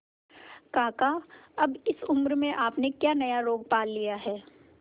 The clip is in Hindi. काका अब इस उम्र में आपने क्या नया रोग पाल लिया है